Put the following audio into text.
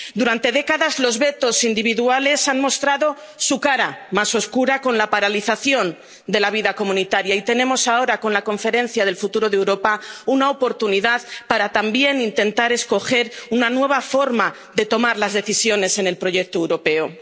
Durante décadas, los vetos individuales han mostrado su cara más oscura con la paralización de la vida comunitaria y tenemos ahora, con la Conferencia sobre el Futuro de Europa, una oportunidad para también intentar escoger una nueva forma de tomar las decisiones en el proyecto europeo.